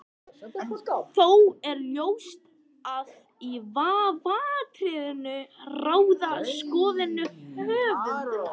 Þó er ljóst að í vafaatriðum ráða skoðanir höfundar.